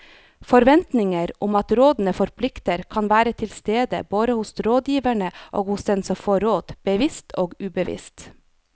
Forventninger om at rådene forplikter kan være til stede både hos rådgiverne og hos den som får råd, bevisst og ubevisst.